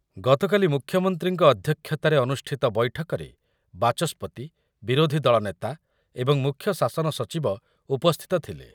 ଗତକାଲି ମୁଖ୍ୟମନ୍ତ୍ରୀଙ୍କ ଅଧ୍ୟକ୍ଷତାରେ ଅନୁଷ୍ଠିତ ବୈଠକରେ ବାଚସ୍ପତି, ବିରୋଧି ଦଳ ନେତା ଏବଂ ମୁଖ୍ୟ ଶାସନ ସଚିବ ଉପସ୍ଥିତ ଥିଲେ ।